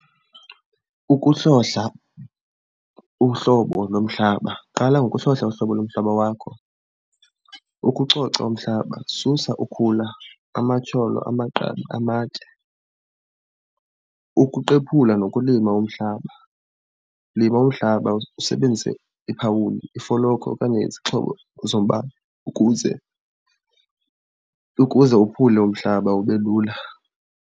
Ukuhlohla uhlobo lomhlaba, qala ngokuhlohla uhlobo lomhlaba wakho. Ukucoca umhlaba, susa ukhula, amatyholo, amagqabi, amatye. Ukuqephula nokulima umhlaba, lima umhlaba usebenzise iphawundi, ifolokhwe okanye izixhobo zombane ukuze, ukuze wophule umhlaba ube lula.